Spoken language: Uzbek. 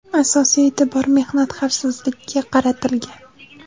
Asosiy e’tibor mehnat xavfsizligiga qaratilgan.